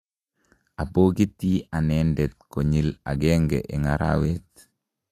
abokiti anendet konyil agenge eng' arawet